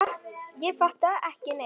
Ég fattaði ekki neitt.